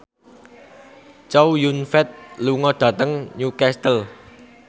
Chow Yun Fat lunga dhateng Newcastle